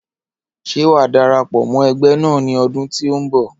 Ṣé wà á darapọ̀ mọ́ ẹgbẹ́ náà ní ọdún tí ó ń bọ̀?